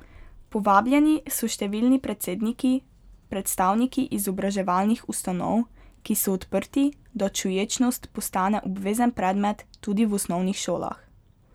Povabljeni so številni predsedniki, predstavniki izobraževalnih ustanov, ki so odprti, da čuječnost postane obvezen predmet tudi v osnovnih šolah.